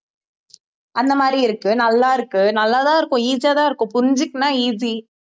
அந்த மாதிரி இருக்கு நல்லாருக்கு நல்லாதான் இருக்கும் easy யாதான் இருக்கும் புரிஞ்சுகிட்டன்னா easy